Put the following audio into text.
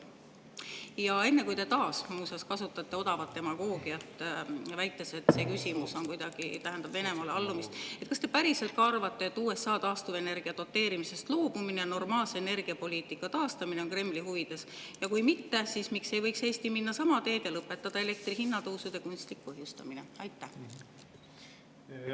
Ja enne kui te taas, muuseas, kasutate odavat demagoogiat, väites, et see küsimus kuidagi tähendab Venemaale allumist,: kas te päriselt ka arvate, et USA taastuvenergia doteerimisest loobumine, normaalse energiapoliitika taastamine on Kremli huvides, ja kui mitte, siis miks ei võiks Eesti minna sama teed ja lõpetada elektri hinna tõusu kunstliku põhjustamise?